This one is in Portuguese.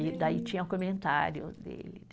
E daí tinha o comentário dele.